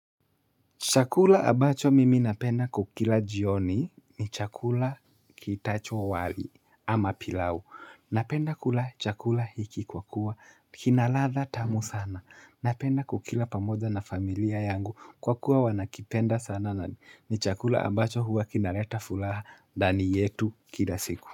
Chakula ambacho mimi napenda kukila jioni ni chakula kiitachwo wali ama pilau. Napenda kula chakula hiki kwa kuwa kina ladha tamu sana. Napenda kukila pamoja na familia yangu kwa kuwa wanakipenda sana na ni chakula ambacho huwa kinaleta furaha ndani yetu kila siku.